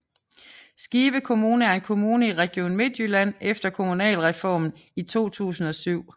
Skive Kommune er en kommune i Region Midtjylland efter Kommunalreformen i 2007